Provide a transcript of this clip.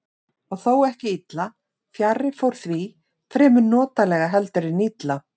Og þó ekki illa, fjarri fór því, fremur notalega heldur en illa.